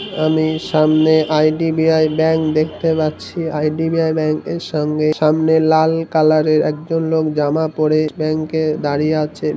আমি সামনে IDBI bank দেখতে পাচ্ছি আই.ডি.বি.আই ব্যাঙ্ক এর সঙ্গে সামনে লাল কালার এর একজন লোক জামা পরে ব্যাঙ্ক এ দাঁড়িয়ে আছে।